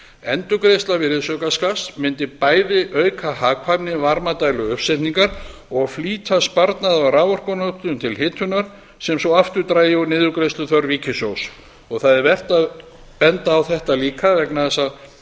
endurgreiðsla virðisaukaskatts mundi bæði auka hagkvæmni varmadæluuppsetninga og flýta sparnaði á raforkunotkun til hitunar sem svo aftur drægi úr niðurgreiðsluþörf ríkissjóðs það er vert að benda á þetta líka vegna þess að